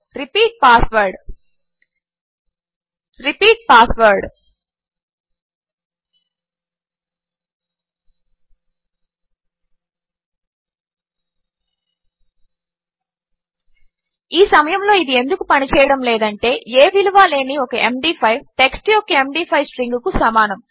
repeat passwordరిపీట్ password ఈ సమయములో ఇది ఎందుకు పనిచేయడము లేదంటే ఏ విలువా లేని ఒక ఎండీ5 టెక్స్ట్ యొక్క ఎండీ5 స్ట్రింగ్కు సమానము